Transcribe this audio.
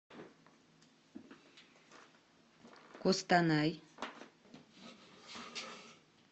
костанай